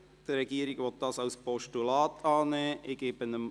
Die Regierung will diese als Postulat annehmen.